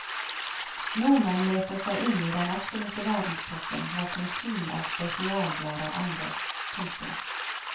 Nordmenn leser seg inn i den absolutte verdenstoppen hva konsum av spesialblader angår. punktum